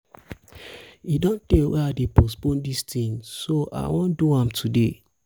e don tey wey i dey postpone dis thing so i wan do am today